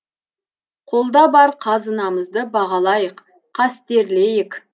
қолда бар қазынамызды бағалайық қастерлейік